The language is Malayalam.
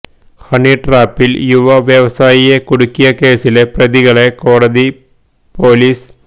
ഹണി ട്രാപ്പിൽ യുവ വ്യവസായിയെ കുടുക്കിയ കേസിലെ പ്രതികളെ കോടതി പോലിസ്